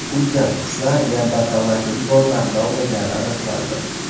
Ulkan qushlar neandertallarning bolalarini ovlagani aniqlandi.